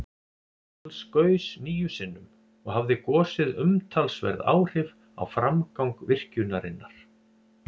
Alls gaus níu sinnum, og hafði gosið umtalsverð áhrif á framgang virkjunarinnar.